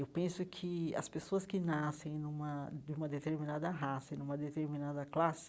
Eu penso que as pessoas que nascem numa de uma determinada raça, e numa determinada classe,